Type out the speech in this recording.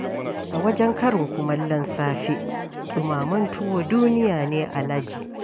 A wajen karin kumallon safe, ɗumamen tuwo duniya ne alaji.